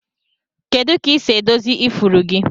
Kedu ka isi edozi ifuru gi?